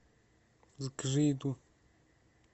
закажи еду